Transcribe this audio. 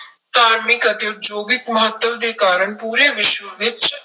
ਧਾਰਮਿਕ ਅਤੇ ਉਦਯੋਗਿਕ ਮਹੱਤਵ ਦੇ ਕਾਰਨ ਪੂਰੇ ਵਿਸ਼ਵ ਵਿੱਚ